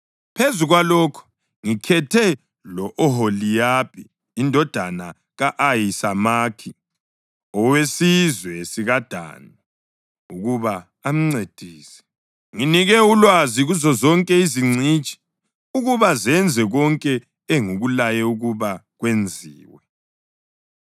Phezu kwalokho, ngikhethe lo-Oholiyabhi indodana ka-Ahisamakhi, owesizwe sikaDani ukuba amncedise. Nginike ulwazi kuzozonke izingcitshi ukuba zenze konke engikulaye ukuba kwenziwe: